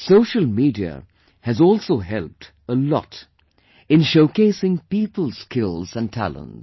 Social media has also helped a lot in showcasing people's skills and talents